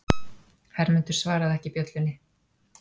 Hermundur svaraði ekki bjöllunni.